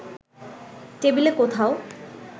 টেবিলে কোথাও